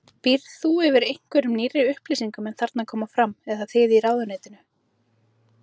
Býrð þú yfir einhverjum nýrri upplýsingum en þarna koma fram, eða þið í ráðuneytinu?